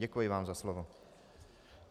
Děkuji vám za slovo.